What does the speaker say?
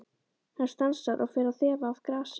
Hann stansar og fer að þefa af grasi.